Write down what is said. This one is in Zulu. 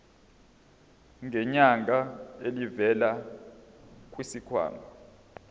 ngenyanga elivela kwisikhwama